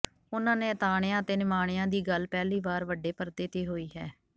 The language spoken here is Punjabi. ਉਹਨਾਂ ਨਿਆਤਾਣਿਆ ਅਤੇ ਨਿਮਾਣਿਆ ਦੀ ਗੱਲ ਪਹਿਲੀ ਵਾਰ ਵੱਡੇ ਪਰਦੇ ਤੇ ਹੋਈ ਹੈ